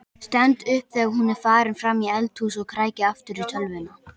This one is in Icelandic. Stend upp þegar hún er farin fram í eldhús og kræki aftur í tölvuna.